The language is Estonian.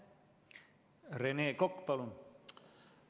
Rene Kokk, palun!